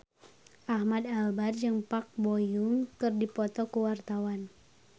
Ahmad Albar jeung Park Bo Yung keur dipoto ku wartawan